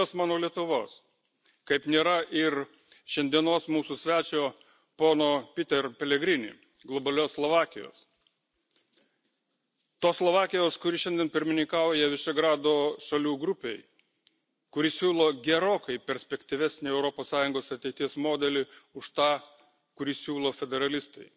Kaip nėra ir globalios mano Lietuvos, kaip nėra ir šiandienos mūsų svečio pono Peter Pellegrini globalios Slovakijos tos Slovakijos, kuri šiandien pirmininkauja Višegrado šalių grupei, kuri siūlo gerokai perspektyvesnį Europos Sąjungos ateities modelį už tą,